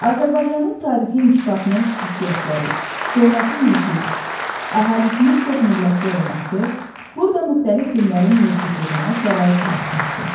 Azərbaycanın tarixi inkişafının xüsusiyyətləri, coğrafi mövqeyi, əhalisinin çoxmillətli olması, burada müxtəlif dinlərin mövcudluğuna şərait yaratmışdı.